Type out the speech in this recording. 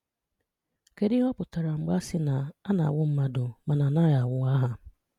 Kédù íhè ọ̀ pụtara mg̀bè a sị́ na “A na-anwụ́ mmadụ, màna a naghị́ anwụ́ àhà?